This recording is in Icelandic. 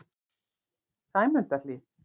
Sæmundarhlíð